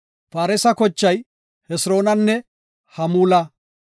Faaresa kochay Hesiroonanne Hamuula.